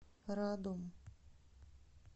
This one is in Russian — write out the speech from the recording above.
радом